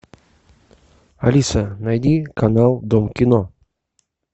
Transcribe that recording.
алиса найди канал дом кино